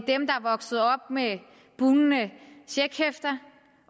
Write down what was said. vokset op med bugnende checkhæfter